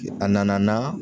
A nana n'a